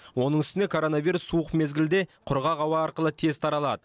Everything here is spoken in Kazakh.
оның үстіне коронавирус суық мезгілде құрғақ ауа арқылы тез таралады